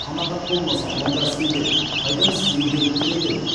қанағат болмаса онда себеп қайдан сізге келіп тіреледі